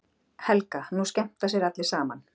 Helga: Nú skemmta sér allir saman?